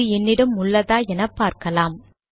அது என்னிடம் உள்ளதா என்று பார்க்கலாம்